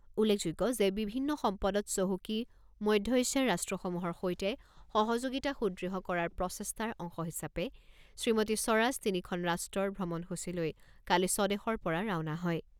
উল্লেখযোগ্য যে বিভিন্ন সম্পদত চহকী মধ্য এছিয়াৰ ৰাষ্ট্ৰসমূহৰ সৈতে সহযোগিতা সুদৃঢ় কৰাৰ প্ৰচেষ্টাৰ অংশ হিচাপে শ্ৰীমতী স্বৰাজ তিনিখন ৰাষ্ট্ৰৰ ভ্ৰমণসূচী লৈ কালি স্বদেশৰ পৰা ৰাওনা হয়।